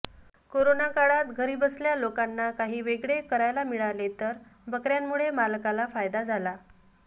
corona काळात घरीबसल्या लोकांना काही वेगळे करायला मिळाले तर बकर्यांमुळे मालकाला फायदा झाला